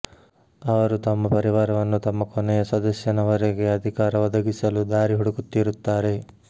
ಅವರು ತಮ್ಮ ಪರಿವಾರವನ್ನು ತಮ್ಮ ಕೊನೆಯ ಸದಸ್ಯನವರೆಗೆ ಅಧಿಕಾರ ಒದಗಿಸಲು ದಾರಿ ಹುಡುಕುತ್ತಿರುತ್ತಾರೆ